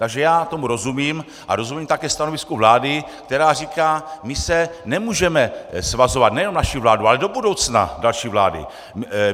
Takže já tomu rozumím a rozumím také stanovisku vlády, která říká: my se nemůžeme svazovat, nejenom naši vládu, ale do budoucna další vlády.